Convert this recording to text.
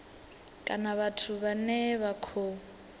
kana vhathu vhane vha khou